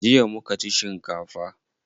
Jiya muka ci shinkafa.